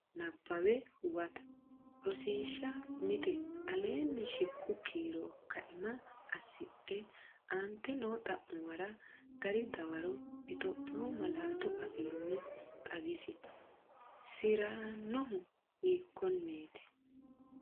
Nabbawe Huwata Rosiishsha Mite Aleenni shiqqu kiiro kaima asidhe aante noo xa’muwara gari dawaro Itiyophiyu malaatu afiinni xawisi, si’rannohu hiikkonneet?